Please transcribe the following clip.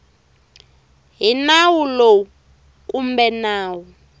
hi nawu lowu kumbe nawu